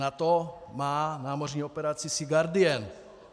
NATO má námořní operaci Sea Guardian.